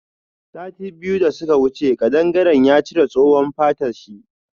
Sati biyu da suka wuce kadangaren ya cire tsohuwan fatan shi.